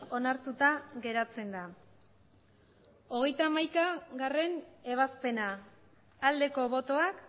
onartuta geratzen da hogeita hamaikagarrena ebazpena aldeko botoak